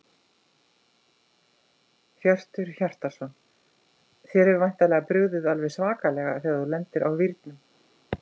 Hjörtur Hjartarson: Þér hefur væntanlega brugðið alveg svakalega þegar þú lendir á vírnum?